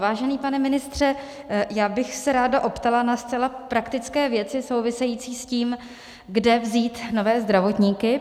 Vážený pane ministře, já bych se ráda optala na zcela praktické věci související s tím, kde vzít nové zdravotníky.